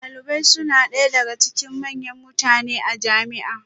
Dalibai suna ɗaya daga cikin manyan mutane a jami'a